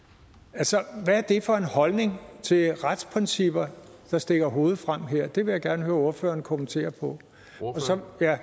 altså hvad er det for en holdning til retsprincipper der stikker hovedet frem her det vil jeg gerne høre ordføreren kommentere og